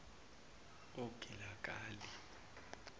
ogilagali